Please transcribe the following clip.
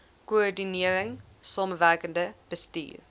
koördinering samewerkende bestuur